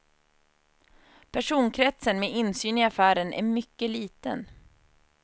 Personkretsen med insyn i affären är mycket liten.